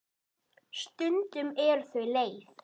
Stundum eru þau leið.